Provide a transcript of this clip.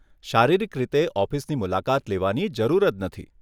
શારીરિક રીતે ઓફિસની મુલાકાત લેવાની જરૂર જ નથી.